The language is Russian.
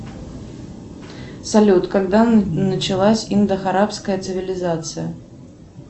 салют когда началась индо арабская цивилизация